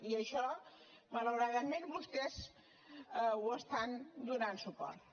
i a això malauradament vostès hi estan donant suport